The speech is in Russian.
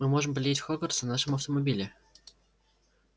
мы можем полететь в хогвартс на нашем автомобиле